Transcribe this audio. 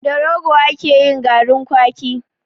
Da Rogo ake yin garin kwaki.